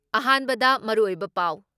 ꯑꯍꯥꯟꯕꯗ ꯃꯔꯨꯑꯣꯏꯕ ꯄꯥꯎ